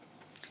Aitäh!